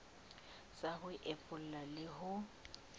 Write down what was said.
sa ho epolla le ho